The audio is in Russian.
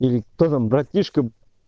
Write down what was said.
или кто там братишка